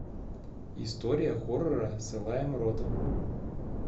история хоррора с элаем ротом